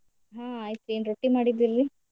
ಹ್ಮ್ ಆಯ್ತ್ ಎನ್ ರೊಟ್ಟೀ ಮಾಡಿದ್ರರೀ?